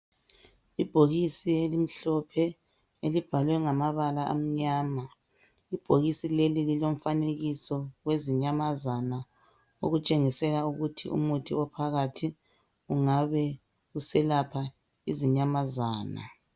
Ibhokisi elimhlophe elibhalwe ngamabala amnyama, ibhokisi leli lilomfanekiso wezinyamazana okutshengisela ukuthi umuthi ophakathi ungabe uselapha izinyamazana.